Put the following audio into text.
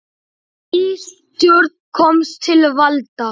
Ný stjórn komst til valda.